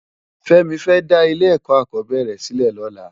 Femi fè dá ilé èkò akòbèrè silè lòlá